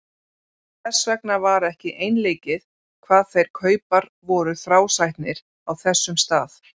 Þess vegna var ekki einleikið hvað þeir kaupar voru þrásætnir á þessum stað.